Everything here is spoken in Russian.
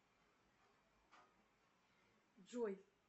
джой